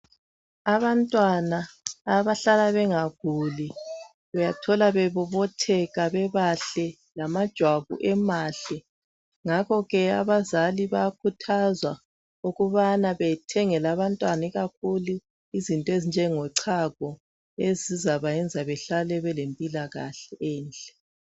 Abantwana abahlala bengaguli uyathola bebobotheka bebahle. Lamajwabu emahle .Ngakho ke abazali bayakhuthazwa ukubana bethengele abantwana izinto ezinjengochago ezizabayenza behlale belempilakahle enhle.